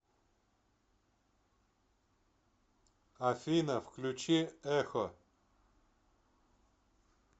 афина включи эксо